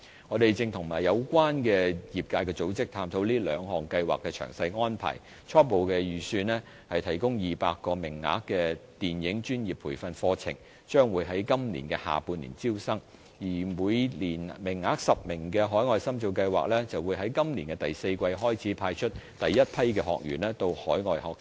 我們正與有關的業界組織探討這兩項計劃的詳細安排，初步預計提供200個名額的電影專業培訓課程將在今年下半年招生，而每年10個名額的海外深造計劃則在今年第四季開始派出第一批學員到海外學習。